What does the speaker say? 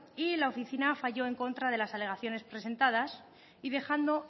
y la oficina falló en contra de las alegaciones presentadas y dejando